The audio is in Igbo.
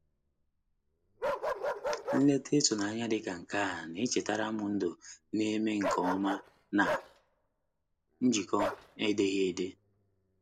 Nleta itụnanya dị ka nke a na-echetaram ndụ na-eme nke ọma na njikọ edeghị ede.